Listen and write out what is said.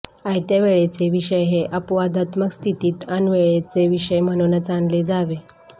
आयत्यावेळेचे विषय हे अपवादात्मक स्थितीत ऐनवेळचे विषय म्हणूनच आणले जावे